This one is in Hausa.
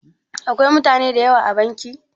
Akwai mutane da yawa a banki?